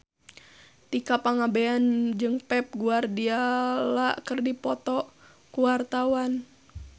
Tika Pangabean jeung Pep Guardiola keur dipoto ku wartawan